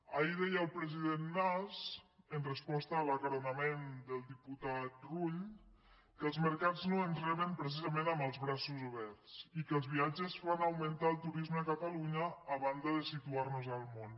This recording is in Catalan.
ahir deia el president mas en resposta a l’acaronament del diputat rull que els mercats no ens reben precisament amb els braços oberts i que els viatges fan augmentar el turisme a catalunya a banda de situarnos al món